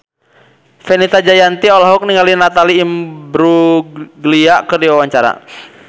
Fenita Jayanti olohok ningali Natalie Imbruglia keur diwawancara